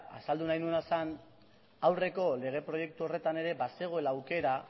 azaldu nahi nuena zen aurreko lege proiektu horretan ere bazegoela aukera